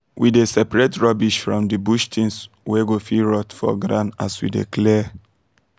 we dey separate rubbish from the bush things wey go fit rot for ground as we dey clear